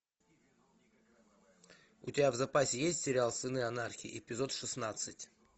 у тебя в запасе есть сериал сыны анархии эпизод шеснадцать